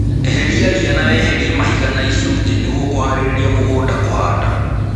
Eheria ria na weherie mahiga na icunjĩ nĩguo kũharĩria mũgũnda kũhanda